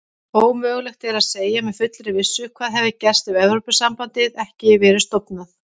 Ómögulegt er að segja með fullri vissu hvað hefði gerst hefði Evrópusambandið ekki verið stofnað.